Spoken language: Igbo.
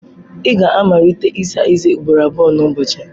Ị ga-amalite ịsa eze ugboro abụọ n'ụbọchị.